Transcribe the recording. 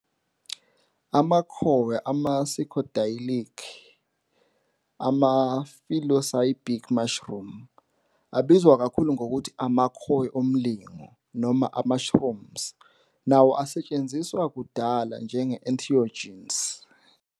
Amakhowe e-Psychedelic, ama-psilocybin mushroom, abizwa kakhulu ngokuthi "amakhowe omlingo" noma ama- "shrooms" nawo asetshenziswa kudala njenge-entheogens.